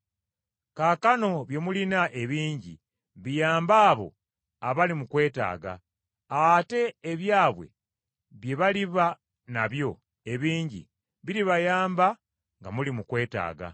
Kaakano bye mulina ebingi biyambe abo abali mu kwetaaga, ate ebyabwe bye baliba nabyo ebingi biribayamba nga muli mu kwetaaga.